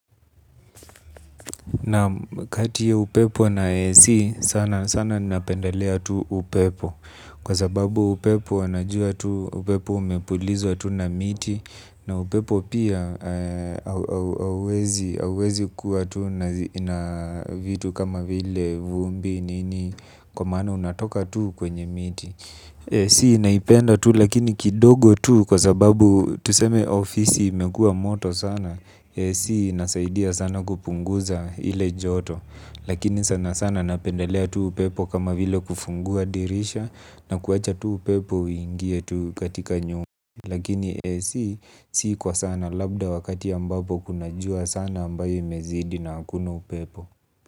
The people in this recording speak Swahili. Nam kati ya upepo na ac sana sana napendelea tu upepo. Kwa sababu upepo unajua tu upepo umepulizwa tu na miti. Na upepo pia hauwezi kuwa tu na vitu kama vile vumbi nini. Kwa maana unatoka tu kwenye miti. Si naipenda tu lakini kidogo tu kwa sababu tuseme ofisi imekuwa moto sana AC inasaidia sana kupunguza ile joto. Lakini sana sana napendelea tuu upepo kama vile kufungua dirisha. Na kuwacha tuu upepo ingie tuu katika nyumba. Lakini AC sii kwa sana labda wakati ambapo kuna jua sana ambayo imezidi na hakuna upepo.